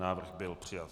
Návrh byl přijat.